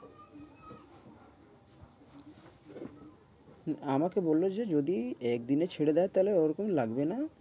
আমাকে বলল যে যদি একদিনে ছেড়ে দেয় তাহলে ওরকম লাগবে না।